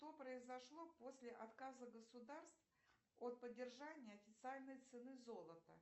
что произошло после отказа государств от поддержания официальной цены золота